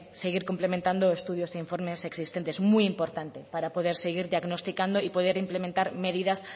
seguir cumplimentado estudios e informes existentes muy importante para poder seguir diagnosticando y poder implementar medidas